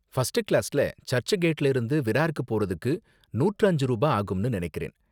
First கிளாஸ்ல church கேட்ல இருந்து விரார்க்கு போறதுக்கு நூற்று அஞ்சு ரூபா ஆகும்னு நினைக்கிறேன்.